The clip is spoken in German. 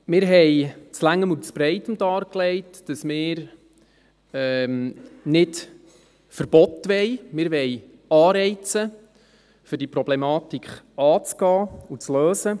Wir haben des Langen und Breiten dargelegt, dass wir keine Verbote, sondern Anreize wollen, um diese Problematik anzugehen und zu lösen.